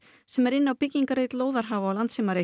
sem er inni á byggingareit lóðarhafa á